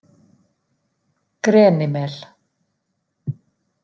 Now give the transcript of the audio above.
Grenimel